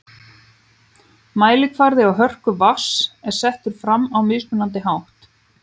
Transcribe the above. Mælikvarði á hörku vatns er settur fram á mismunandi hátt.